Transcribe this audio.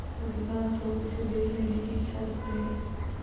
अधिकांश लोग इसे देख लेने की इच्छा रखते हैं